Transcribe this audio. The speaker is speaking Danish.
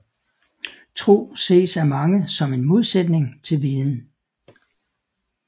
Tro ses af mange som en modsætning til viden